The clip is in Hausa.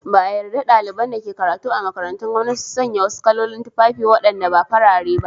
Ba a yarda daliban da ke karatu a makarantun gwanmnati su sanya wasu kalolin tufafi wadanda ba farare ba.